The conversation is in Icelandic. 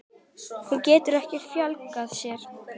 Hún getur ekki fjölgað sér.